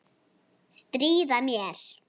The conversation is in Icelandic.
Stríða mér.